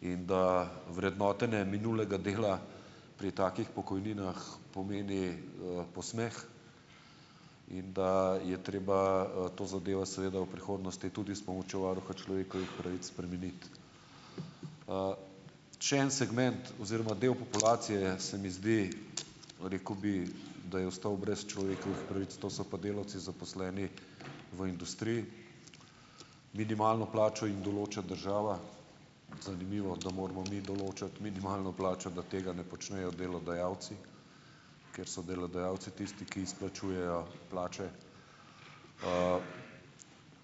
in da vrednotenje minulega dela pri takih pokojninah pomeni, posmeh in da je treba to zadevo seveda v prihodnosti tudi s pomočjo varuha človekovih pravic spremeniti. če en segment oziroma del populacije, se mi zdi, rekel bi, da je ostal brez človekovih pravic, to so pa delavci, zaposleni v industriji. Minimalno plačo jim določa država, zanimivo, da moramo mi določati minimalno plačo, da tega ne počnejo delodajalci, ker so delodajalci tisti, ki izplačujejo plače,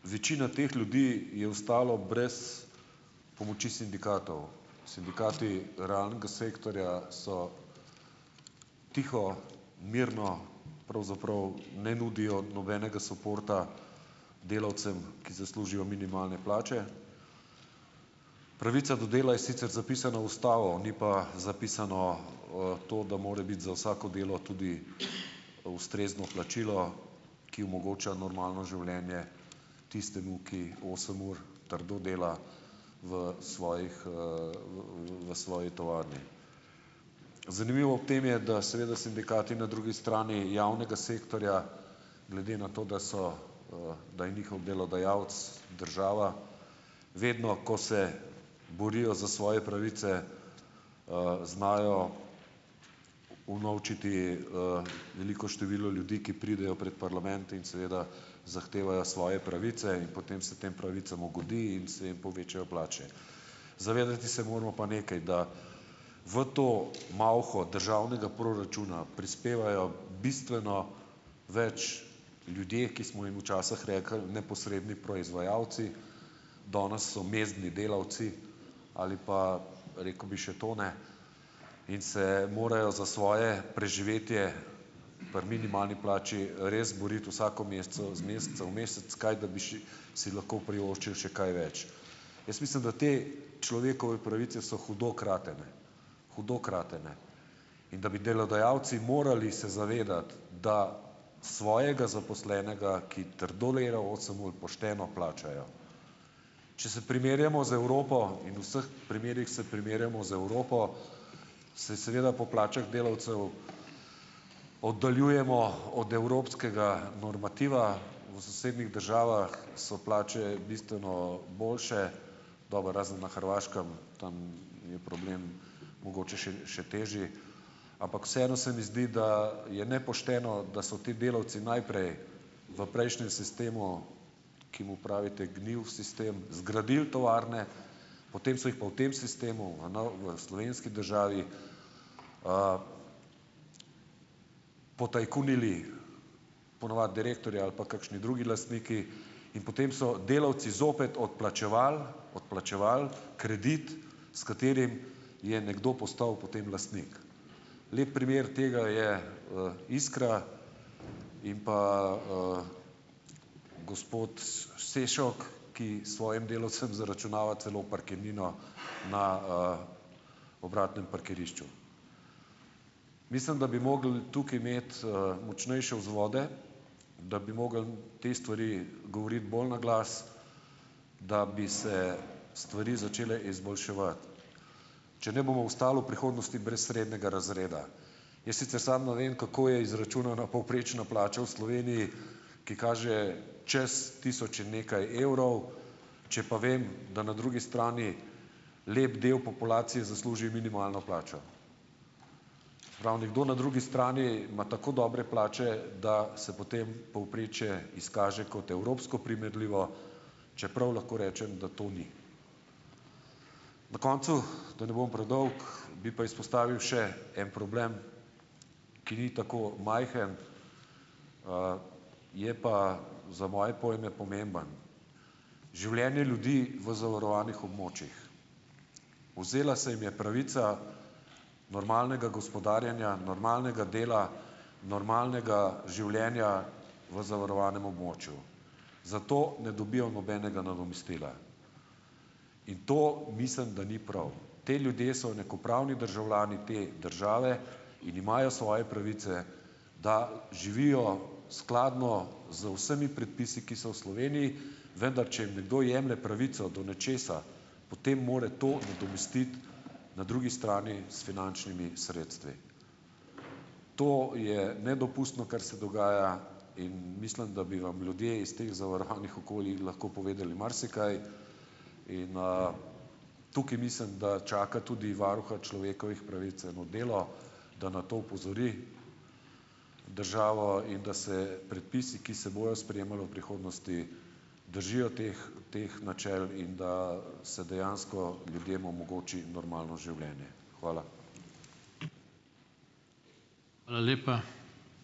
večina teh ljudi je ostalo brez pomoči sindikatov, sindikati rang sektorja so tiho, mirno, pravzaprav ne nudijo nobenega suporta delavcem, ki zaslužijo minimalne plače, pravica do dela je sicer zapisana v ustavo, ni pa zapisano, to, da mora biti za vsako delo tudi ustrezno plačilo, ki omogoča normalno življenje tistemu, ki osem ur trdo dela v svojih, v svoji tovarni. Zanimivo v tem je, da seveda sindikati na drugi strani javnega sektorja, glede na to, da so, da je njihov delodajalec država, vedno, ko se borijo za svoje pravice, znajo unovčiti, veliko število ljudi, ki pridejo pred parlament in seveda zahtevajo svoje pravice, in potem se tem pravicam ugodi in se jim povečajo plače. Zavedati se moramo pa nekaj, da v to malho državnega proračuna prispevajo bistveno več ljudje, ki smo jim včasih rekli neposredni proizvajalci, danes so mezdni delavci, ali pa, rekel bi, še to ne in se morajo za svoje preživetje pri minimalni plači res boriti vsak mesec z meseca v mesec, kaj da bi še si lahko privoščili še kaj več. Jaz mislim, da te človekove pravice so hudo kratene, hudo kratene in da bi delodajalci morali se zavedati, da svojega zaposlenega, ki trdo dela osem ur, pošteno plačajo, če se primerjamo z Evropo in vseh primerih se primerjamo z Evropo, se seveda po plačah delavcev oddaljujemo od evropskega normativa v sosednjih državah, so plače bistveno boljše, dobro, razen na Hrvaškem, tam je problem mogoče še še težje, ampak vseeno se mi zdi, da je nepošteno, da so ti delavci najprej v prejšnjem sistemu, ki mu pravite gnil sistem, zgradili tovarne, potem so jih pa v tem sistemu v v slovenski državi, potajkunili ponavadi direktorji ali pa kakšni drugi lastniki in potem so delavci zopet odplačevali odplačevali kredit, s katerim je nekdo postal potem lastnik. Lep primer tega je, Iskra in pa, gospod Sešok, ki svojim delavcem zaračunava celo parkirnino na, obratnem parkirišču. Mislim, da bi mogli tukaj imeti, močnejše vzvode, da bi mogli te stvari govoriti bolj na glas, da bi se stvari začele izboljševati, če ne bomo ostali v prihodnosti brez srednjega razreda, jaz sicer sam, ne vem, kako je izračunana povprečna plača v Sloveniji, ki kaže čez tisoč in nekaj evrov, če pa vem, da na drugi strani lep del populacije zasluži minimalno plačo. Prav, nekdo na drugi strani ima tako dobre plače, da se potem povprečje izkaže kot evropsko primerljivo, čeprav lahko rečem, da to ni. Na koncu, da ne bom predolg, bi pa izpostavil še en problem, ki ni tako majhen, je pa za moje pojme pomemben: življenje ljudi v zavarovanih območjih. Vzela se jim je pravica normalnega gospodarjenja, normalnega dela, normalnega življenja v zavarovanem območju, zato ne dobijo nobenega nadomestila, in to mislim, da ni prav, ti ljudje so enakopravni državljani te države in imajo svoje pravice, da živijo skladno z vsemi predpisi, ki so v Sloveniji, vendar če jim nekdo jemlje pravico do nečesa, potem mora to nadomestiti na drugi strani s finančnimi sredstvi. To je nedopustno, kar se dogaja, in mislim, da bi vam ljudje iz teh zavarovanih okolij lahko povedali marsikaj, in, tukaj mislim, da čaka tudi varuha človekovih pravic eno delo, da na to opozori državo in da se predpisi, ki se bojo sprejemali v prihodnosti, držijo teh teh načel in da se dejansko ljudem omogoči normalno življenje, hvala. ()la lepa.